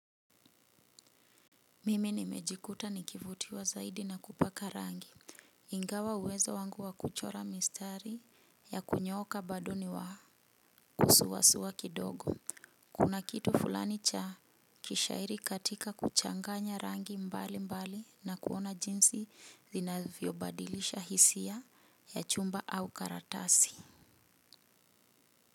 Mimi nimejikuta nikivutiwa zaidi na kupaka rangi. Ingawa uwezo wangu wa kuchora mistari ya kunyoka bado ni wa kusuwasuwa kidogo kuna kitu fulani cha kishairi katika kuchanganya rangi mbali mbali na kuona jinsi zinavyo badilisha hisia ya chumba au karatasi.